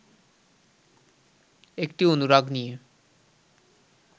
একটি অনুরাগ নিয়ে